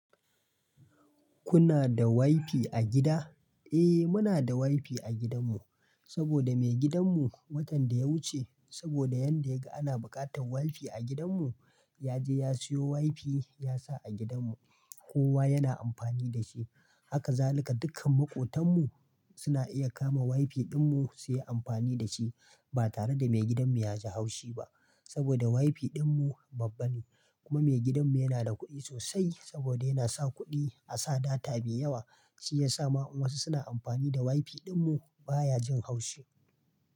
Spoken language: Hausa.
Kuna da wifi a gida? Eh muna da wifi a gidanmu saboda maigidanmu watan da ya wuce saboda yadda yaga ana buƙatar wifi a gidanmu, yaje ya siyo wifi yasa a gidanmu. Kowa yana amfani da shi. Haka zalika dukkan makotanmu suna iya kama wifi ɗinmu suyi amfani da shi ba tare da maigidanmu yaji haushi ba. Saboda wifi ɗinmu babba ne kuma maigidanmu yana da kuɗi sosai saboda yana saka kuɗi a'sa data mai yawa shiyasa ma in wasu suna amfani da wifi ɗinmu baya jin haushi.